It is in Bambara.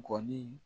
Gɔbɔni